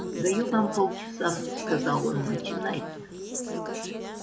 даю вам полчаса сказал он начинайте